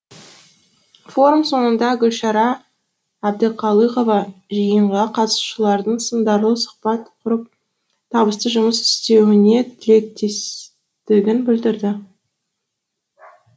форум соңында гүлшара әбдіқалықова жиынға қатысушылардың сындарлы сұхбат құрып табысты жұмыс істеуіне тілектестігін білдірді